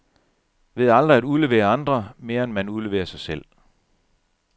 Ved aldrig at udlevere andre, mere end man udleverer sig selv.